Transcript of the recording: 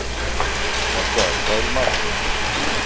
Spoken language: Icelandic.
Hjalta, hvað er í matinn?